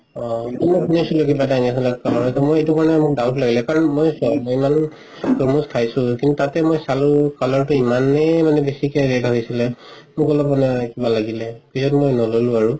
অ কিন্তু শুনি আচিলো কিবা এটা injection কাৰণে মোৰ doubt লাগিলে কাৰণ মই যিমান চাইছো তাতে মই চালো color তো ইমানে বেচি red হয় আছিলে লব কাৰণে কিবা লাগিলে পিছত মই নললো আৰু